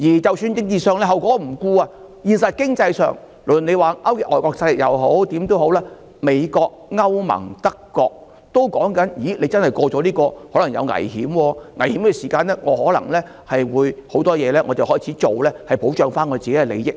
即使你不顧政治後果，在現實經濟上，無論你說勾結外國勢力或甚麼也好，美國、歐盟、德國都表示，如果通過法案，可能會有危險，在有危險的時候，他們便會做一些事情來保障自己的利益。